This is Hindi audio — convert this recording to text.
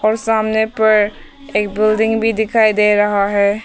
और सामने पर एक बिल्डिंग भी दिखाई दे रहा है।